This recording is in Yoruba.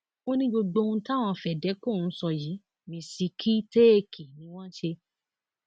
ó ní gbogbo ohun táwọn fedeco ń sọ yìí mistake ni wọn ń ṣe